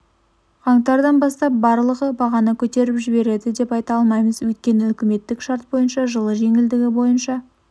қаңтардан бастап барлығы бағаны көтеріп жібереді деп айта алмаймыз өйткені үкіметтік шарт бойынша жылы жеңілдігі бйоынша